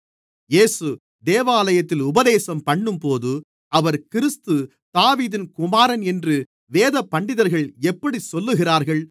இயேசு தேவாலயத்தில் உபதேசம்பண்ணும்போது அவர் கிறிஸ்து தாவீதின் குமாரன் என்று வேதபண்டிதர்கள் எப்படிச் சொல்லுகிறார்கள்